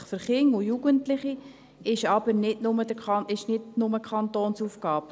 Verantwortlichkeit für Kinder und Jugendliche ist aber nicht nur eine Kantonsaufgabe;